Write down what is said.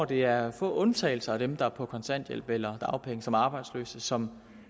det er få undtagelser blandt dem der er på kontanthjælp eller dagpenge som er arbejdsløse som